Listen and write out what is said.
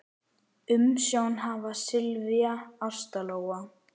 Umsjón hafa Silvía, Ásta Lóa.